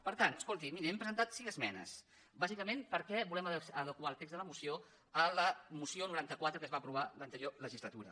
per tant escolti miri hem presentat cinc esmenes bàsicament perquè volem adequar el text de la moció a la moció noranta quatre que es va aprovar l’anterior legislatura